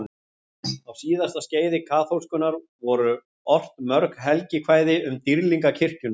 Á síðasta skeiði kaþólskunnar voru ort mörg helgikvæði um dýrlinga kirkjunnar.